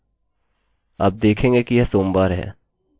अब यदि आप इसे रिफ्रेश करें आप देखेंगे कि यह सोमवार है